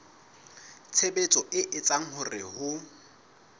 tshebetso e etsang hore ho